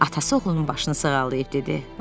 Atası oğlunun başını sığallayıb dedi: